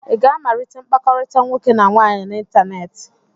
Ị ga-amalite mkpakọrịta nwoke na nwaanyị n'ịntanetị?